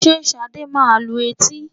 Ǹjẹ́ Ṣadé máa lu etí?